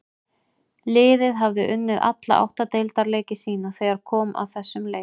Liðið hafði unnið alla átta deildarleiki sína þegar kom að þessum leik.